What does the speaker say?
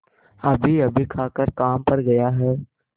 अभीअभी खाकर काम पर गया है